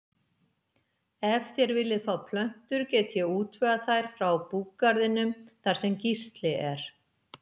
Ef þér viljið fá plöntur get ég útvegað þær frá búgarðinum þar sem Gísli er.